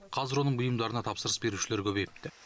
қазір оның бұйымдарына тапсырыс берушілер көбейіпті